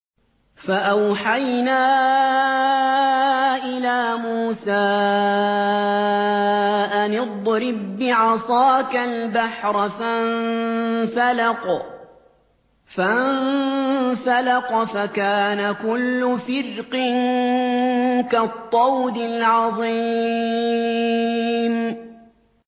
فَأَوْحَيْنَا إِلَىٰ مُوسَىٰ أَنِ اضْرِب بِّعَصَاكَ الْبَحْرَ ۖ فَانفَلَقَ فَكَانَ كُلُّ فِرْقٍ كَالطَّوْدِ الْعَظِيمِ